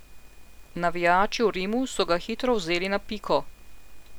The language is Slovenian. Navijači v Rimu so ga hitro vzeli na piko.